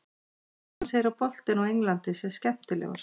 Hann segir að boltinn á Englandi sé skemmtilegur.